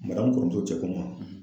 kɔrɔmuso cɛ ko n ma